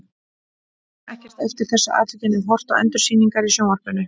Ég man ekkert eftir þessu atviki en hef horft á endursýningar í sjónvarpinu.